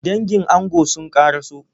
Dangin ango sun kara so.